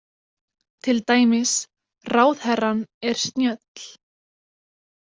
Til dæmis, Ráðherrann er snjöll.